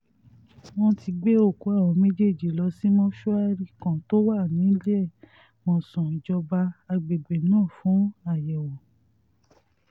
wọ́n ti gbé òkú àwọn méjèèjì lọ sí mọ́ṣúárì kan tó wà níléemọ̀sán ìjọba àgbègbè náà fún àyẹ̀wò